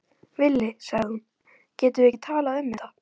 Villi, sagði hún, getum við ekki talað um þetta?